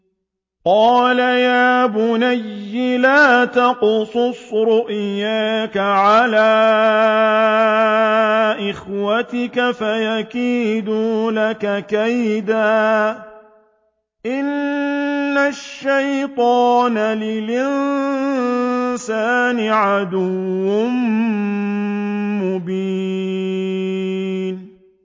قَالَ يَا بُنَيَّ لَا تَقْصُصْ رُؤْيَاكَ عَلَىٰ إِخْوَتِكَ فَيَكِيدُوا لَكَ كَيْدًا ۖ إِنَّ الشَّيْطَانَ لِلْإِنسَانِ عَدُوٌّ مُّبِينٌ